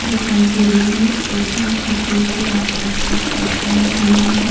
दिखाई दे रही है ऊपर छत्री के आकार की छत बनी हुई है।